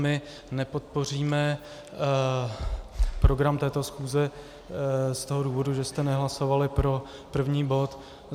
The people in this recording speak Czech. My nepodpoříme program této schůze z toho důvodu, že jste nehlasovali pro první bod.